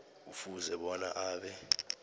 kufuze bona abe